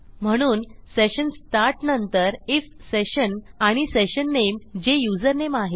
म्हणून session start नंतर IF session आणि सेशन नेम जे युजरनेम आहे